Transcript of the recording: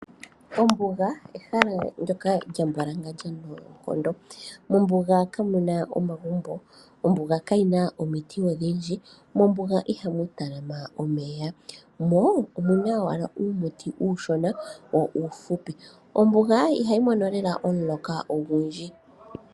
Ombuga ehala lyoka lyambwalangandja noonkondo. Mombuga inamu tungwa omagumbo nosho woo kamunasha omiti odhindji shaashi ihamu tala ma omeya. Omuna uumuti owala uushona wo uufupi molwaashoka mombuga ihamu mona lela omuloka gwa gwana.